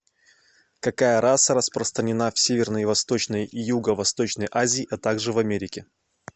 какая раса распространена в северной восточной и юго восточной азии а также в америке